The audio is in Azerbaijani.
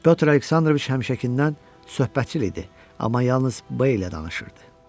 Pyotr Aleksandroviç həmişəkindən söhbətçil idi, amma yalnız Beylə danışırdı.